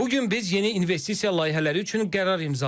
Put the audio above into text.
Bu gün biz yeni investisiya layihələri üçün qərar imzaladıq.